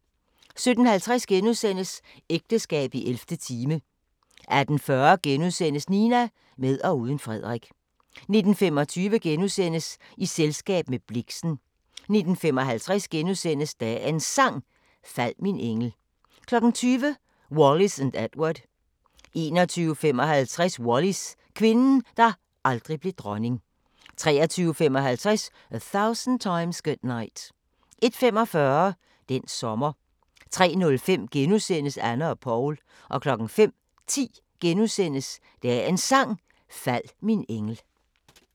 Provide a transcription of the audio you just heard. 17:50: Ægteskab i 11. time * 18:40: Nina – med og uden Frederik * 19:25: I selskab med Blixen * 19:55: Dagens Sang: Fald min engel * 20:00: Wallis & Edward 21:55: Wallis – kvinden, der aldrig blev dronning 23:55: A Thousand Times Good Night 01:45: Den sommer 03:05: Anne og Paul * 05:10: Dagens Sang: Fald min engel *